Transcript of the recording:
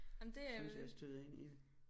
Synes jeg jeg støder ind i det